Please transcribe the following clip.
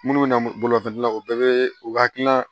Minnu bɛ na bolofɛn na u bɛɛ bɛ u hakilila